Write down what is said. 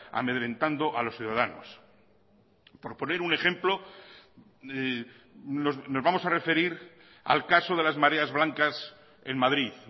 amedrentando a los ciudadanos por poner un ejemplo nos vamos a referir al caso de las mareas blancas en madrid